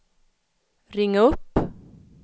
ring upp